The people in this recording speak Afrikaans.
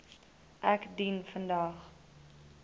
ek dien vandag